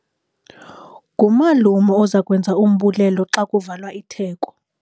Ngumalume oza kwenza umbulelo xa kuvalwa itheko.